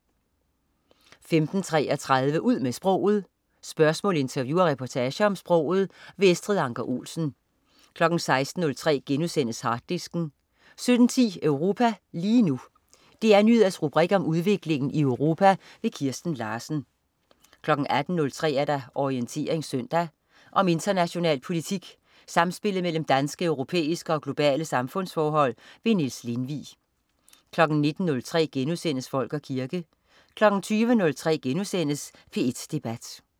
15.33 Ud med sproget. Spørgsmål, interview og reportager om sproget. Estrid Anker Olsen 16.03 Harddisken* 17.10 Europa lige nu. DR Nyheders rubrik om udviklingen i Europa. Kirsten Larsen 18.03 Orientering søndag. Om international politik, samspillet mellem danske, europæiske og globale samfundsforhold. Niels Lindvig 19.03 Folk og kirke* 20.03 P1 Debat*